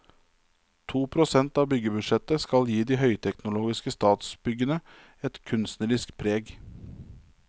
To prosent av byggebudsjettet skal gi de høyteknologiske statsbyggene et kunstnerisk preg.